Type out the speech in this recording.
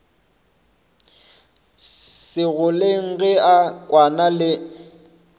segoleng ge a kwana le